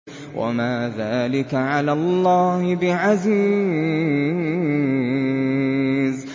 وَمَا ذَٰلِكَ عَلَى اللَّهِ بِعَزِيزٍ